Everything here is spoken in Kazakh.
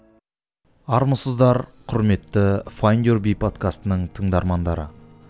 армысыздар құрметті файндюрби подкастының тыңдармандары